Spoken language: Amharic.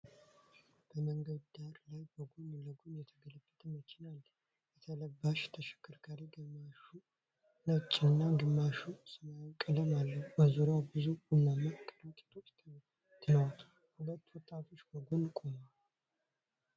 በመንገድ ዳር ላይ በጎን ለጎን የተገለበጠ መኪና አለ። የተበላሸው ተሽከርካሪ ግማሹ ነጭና ግማሹ ሰማያዊ ቀለም አለው፤ በዙሪያው ብዙ ቡናማ ከረጢቶች ተበታትነዋል። ሁለት ወጣቶች ከጎን ቆመዋል።